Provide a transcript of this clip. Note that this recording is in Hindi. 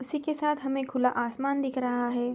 उसी के साथ हमें खुला आसमान दिख रहा है।